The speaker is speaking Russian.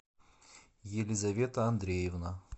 елизавета андреевна